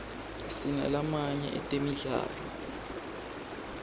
sinalamaye etemidlalo